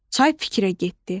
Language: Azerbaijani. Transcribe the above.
Çay fikrə getdi.